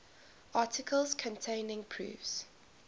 articles containing proofs